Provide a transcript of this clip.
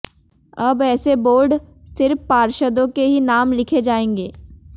अब ऐसे बोर्ड सिर्फ पार्षदों के ही नाम लिखे जाएंगे